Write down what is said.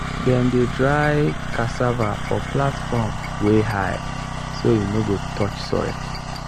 dem dey dry cassava for platform wey high so e no go touch soil.